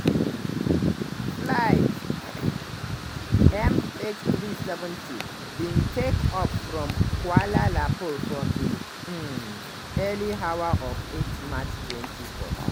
flight mh370 bin take off from kuala lumpur for di um early hours of 8 march 2014.